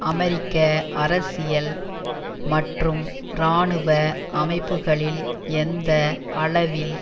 அமெரிக்க அரசியல் மற்றும் இராணுவ அமைப்புக்களில் எந்த அளவில்